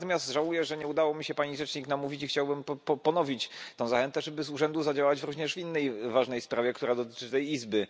Natomiast żałuję, że nie udało mi się pani rzecznik namówić i chciałbym ponowić tę zachętę, żeby z urzędu zadziałać również w innej ważnej sprawie, która dotyczy tej izby.